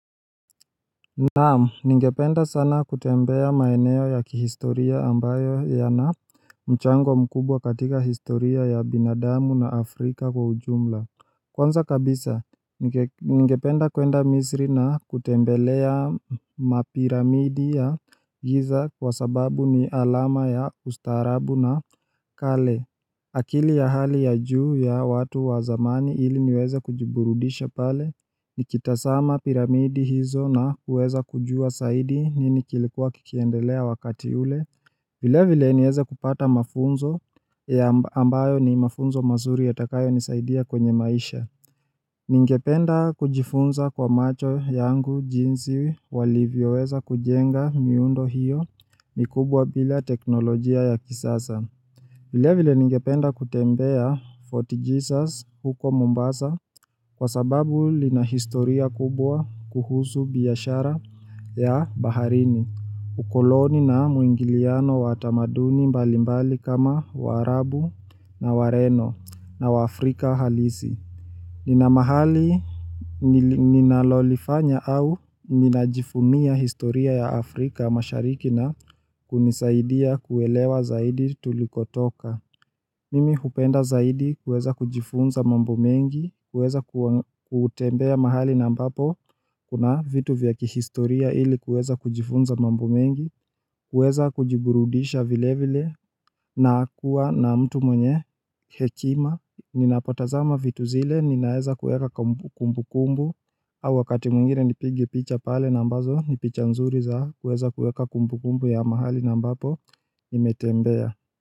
Naam ningependa sana kutembea maeneo ya kihistoria ambayo yana mchango mkubwa katika historia ya binadamu na Afrika kwa ujumla Kwanza kabisa ningependa kwenda misri na kutembelea mapiramidi ya giza kwa sababu ni alama ya ustaarabu na kale akili ya hali ya juu ya watu wa zamani ili niweze kujiburudisha pale Nikitazama piramidi hizo na kuweza kujua zaidi nini kilikuwa kikiendelea wakati ule Vilevile niweze kupata mafunzo ambayo ni mafunzo mazuri yatakayo nisaidia kwenye maisha Ningependa kujifunza kwa macho yangu jinsi walivyoweza kujenga miundo hiyo. Ni kubwa bila teknolojia ya kisasa Vilevile ningependa kutembea Fort Jesus huko Mumbasa kwa sababu ina historia kubwa kuhusu biashara ya baharini, ukoloni na muingiliano wa tamaduni mbalimbali kama waarabu na wareno na wa Afrika halisi. Nina mahali ninalolifanya au ninajivunia historia ya Afrika mashariki na kunisaidia kuelewa zaidi tulikotoka Mimi hupenda zaidi kuweza kujifunza mambo mengi, kuweza kutembea mahali na ambapo Kuna vitu vya kihistoria ili kuweza kujifunza mambo mengi, kuweza kujiburudisha vilevile na kuwa na mtu mwenye hekima Ninapotazama vitu zile ninaweza kuweka kumbukumbu au wakati mwingine nipige picha pale na ambazo ni picha nzuri za kuweza kuweka kumbukumbu ya mahali na ambapo nimetembea.